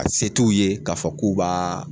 A se t'u ye k'a fɔ k'u b'aa